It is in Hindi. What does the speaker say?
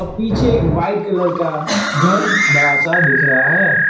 पीछे एक वाइट कलर का घर बड़ा सा दिख रहा है।